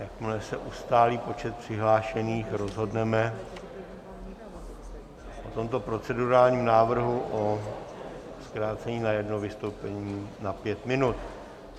Jakmile se ustálí počet přihlášených, rozhodneme v tomto procedurálním návrhu o zkrácení na jedno vystoupení na pět minut.